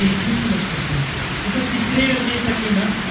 definitely लक्षात ठेवायचंय. जस तिसऱ्या योजनेसाठी ना.